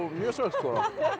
mjög svo sko